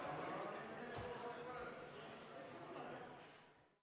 Istungi lõpp kell 15.13.